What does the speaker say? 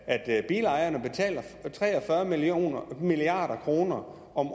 at bilejerne betaler tre og fyrre milliard kroner om